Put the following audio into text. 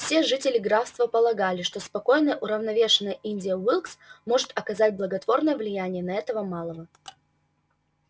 все жители графства полагали что спокойная уравновешенная индия уилкс может оказать благотворное влияние на этого малого